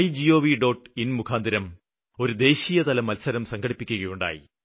in മുഖാന്തിരം ഒരു ദേശീയതല മത്സരം സംഘടിപ്പിക്കുകയുണ്ടായി